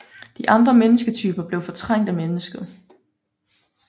De andre mennesketyper blev fortrængt af mennesket